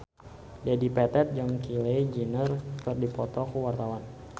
Dedi Petet jeung Kylie Jenner keur dipoto ku wartawan